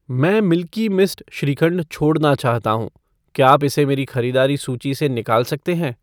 मैं Milky Mist shrikhand छोड़ना चाहता हूँ , क्या आप इसे मेरी खरीदारी सूची से निकाल सकते हैं?